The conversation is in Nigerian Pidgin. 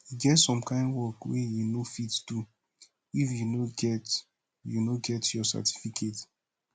e get some kind work wey you no fit do if you no get you no get your certificate